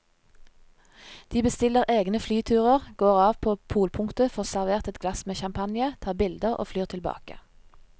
De bestiller egne flyturer, går av på polpunktet, får servert et glass med champagne, tar bilder og flyr tilbake.